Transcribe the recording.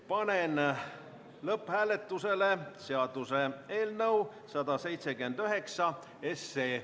Panen lõpphääletusele seaduseelnõu 179.